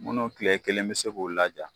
Munnu kile kelen bɛ se k'o la ja.